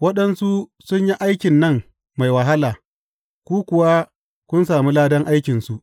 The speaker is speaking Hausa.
Waɗansu sun yi aikin nan mai wahala, ku kuwa kun sami ladan aikinsu.